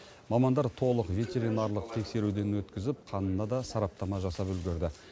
мамандар толық ветеринарлық тексеруден өткізіп қанына да сараптама жасап үлгерді